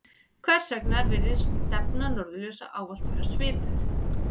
hvers vegna virðist stefna norðurljósa ávallt vera svipuð